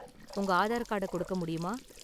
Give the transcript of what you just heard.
உங்க ஆதார் கார்டை கொடுக்க முடியுமா?